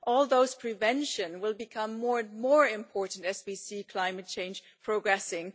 All those prevention measures will become more and more important as we see climate change progressing.